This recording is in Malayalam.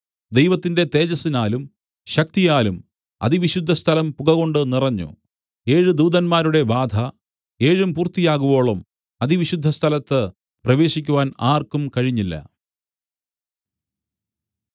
ദൈവത്തിന്റെ തേജസ്സിനാലും ശക്തിയാലും അതിവിശുദ്ധസ്ഥലം പുകകൊണ്ട് നിറഞ്ഞു ഏഴ് ദൂതന്മാരുടെ ബാധ ഏഴും പൂർത്തിയാകുവോളം അതിവിശുദ്ധസ്ഥലത്ത് പ്രവേശിക്കുവാൻ ആർക്കും കഴിഞ്ഞില്ല